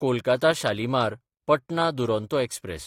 Kolkata शालिमार–पटना Duronto express